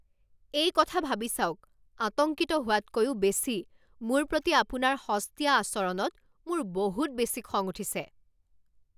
এই কথা ভাবি চাওক, আতংকিত হোৱাতকৈও বেছি, মোৰ প্ৰতি আপোনাৰ সস্তীয়া আচৰণত মোৰ বহুত বেছি খং উঠিছে।